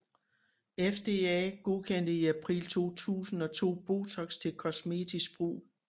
FDA godkendte i april 2002 Botox til kosmetisk brug